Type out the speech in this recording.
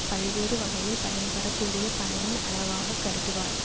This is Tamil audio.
பல்வேறு வகையில் பயன்படக்கூடிய பனையின் அளவாக கருதுவார்